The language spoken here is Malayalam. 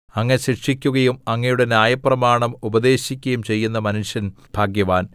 അങ്ങ് ശിക്ഷിക്കുകയും അങ്ങയുടെ ന്യായപ്രമാണം ഉപദേശിക്കുകയും ചെയ്യുന്ന മനുഷ്യൻ ഭാഗ്യവാൻ